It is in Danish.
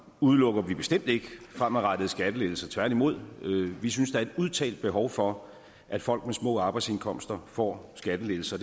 udelukker vi bestemt ikke fremadrettede skattelettelser tværtimod vi synes der er et udtalt behov for at folk med små arbejdsindkomster får skattelettelser